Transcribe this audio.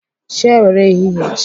Chi ewere ehihie jie.